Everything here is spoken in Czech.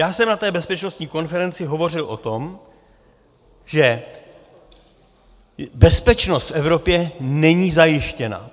Já jsem na té bezpečnostní konferenci hovořil o tom, že bezpečnost v Evropě není zajištěna.